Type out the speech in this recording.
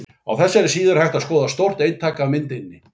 Á þessari síðu er hægt að skoða stórt eintak af myndinni.